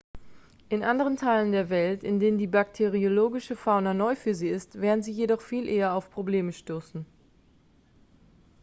in anderen teilen der welt in denen die bakteriologische fauna neu für sie ist werden sie jedoch viel eher auf probleme stoßen